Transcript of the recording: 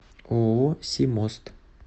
ооо симост